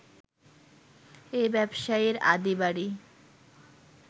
এই ব্যবসায়ীর আদি বাড়ি